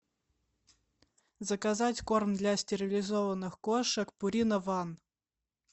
заказать корм для стерилизованных кошек пурина ван